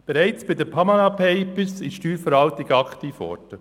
Schon bei den «Panama Papers» war die Steuerverwaltung aktiv geworden.